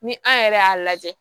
Ni an yɛrɛ y'a lajɛ